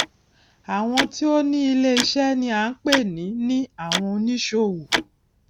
àwọn tí ó ni iléiṣẹ ni à ń pè ní ní àwon oníṣòwò